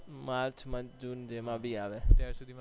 March June માં જેમાં બી આવે